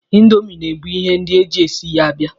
Indomi na-ebu ihe ndị e ji e si ya abịa.